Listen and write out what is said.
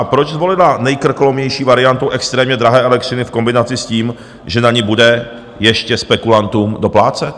A proč zvolila nejkrkolomnější variantu extrémně drahé elektřiny v kombinaci s tím, že na ni bude ještě spekulantům doplácet?